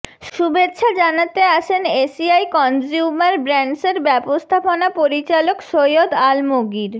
শুভেচ্ছা জানাতে আসেন এসিআই কনজ্যুমার ব্র্যান্ডসের ব্যবস্থাপনা পরিচালক সৈয়দ আলমগীর